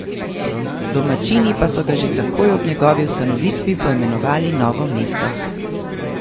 Domačini pa so ga že takoj ob njegovi ustanovitvi poimenovali Novo mesto.